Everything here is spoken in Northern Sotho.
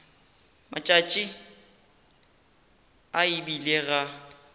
matšatši a e bile ga